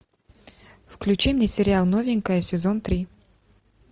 включи мне сериал новенькая сезон три